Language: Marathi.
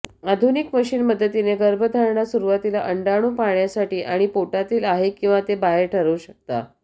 आधुनिक मशीन मदतीने गर्भधारणा सुरूवातीला अंडाणु पाहण्यासाठी आणि पोटातील आहे किंवा ते बाहेर ठरवू शकता